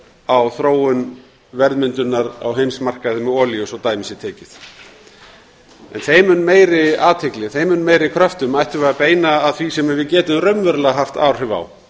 á þróun verðmyndunar á heimsmarkaði með olíu svo dæmi sé tekið en þeim mun meiri kröftum ættum við að beina að því sem við getum raunverulega haft áhrif á